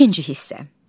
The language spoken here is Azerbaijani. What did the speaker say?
İkinci hissə.